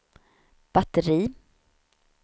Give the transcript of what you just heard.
batteri